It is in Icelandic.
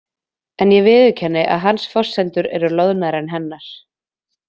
En ég viðurkenni að hans forsendur eru loðnari en hennar.